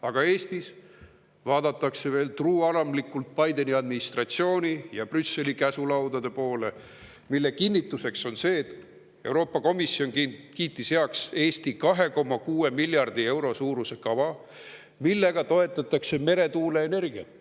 Aga Eestis vaadatakse veel truualamlikult Bideni administratsiooni ja Brüsseli käsulaudade poole, mille kinnituseks on see, et Euroopa Komisjon kiitis heaks Eesti 2,6 miljardi euro suuruse kava, millega toetatakse meretuuleenergiat.